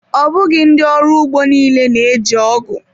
Ọ bụghị ndị ọrụ ugbo niile na-eji ọgụ.